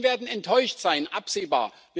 Die Menschen werden enttäuscht sein, absehbar.